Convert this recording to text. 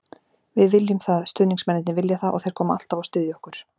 Við viljum það, stuðningsmennirnir vilja það og þeir koma alltaf og styðja okkur.